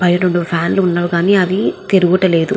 బయట రెండు ఫ్యాన్ లు వున్నవి కానీ అవి తిరుగుత లేవు.